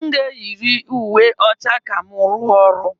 M ga-eyiri uwe ọcha ka m rụọ ọrụ.